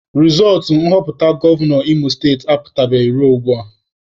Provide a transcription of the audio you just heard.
Rizọọtụ nhọpụta gọva Imo state apụtabeghị ruo ugbua.